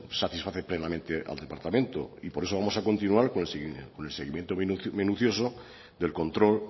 satisface plenamente al departamento y por eso vamos a continuar con el seguimiento minucioso del control